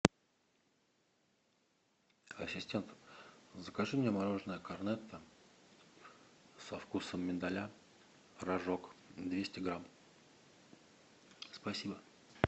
ассистент закажи мне мороженое корнетто со вкусом миндаля рожок двести грамм спасибо